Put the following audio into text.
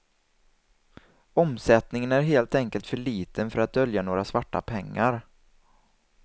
Omsättningen är helt enkelt för liten för att dölja några svarta pengar.